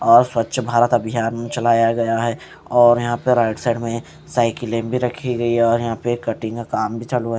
और स्वच्छ भारत अभियान चलाया गया है और यहां पर राइट साइड में साइकिलें भी रखी गई और यहां पे कटिंग का काम भी चालू है।